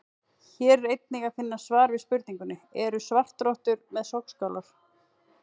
Hér er einnig að finna svar við spurningunni: Eru svartrottur með sogskálar?